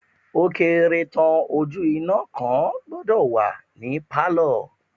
Ó kéré tán ojú iná kan gbọ́dọ̀ wà ní pálọ̀.